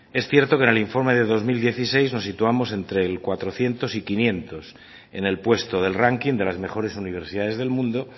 es cierto que en el informe de dos mil dieciséis nos situamos entre el cuatrocientos y quinientos en el puesto del ranking de las mejores universidades del mundo